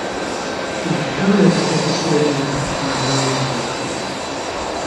In kaj je tako posebnega na glavni junakinji?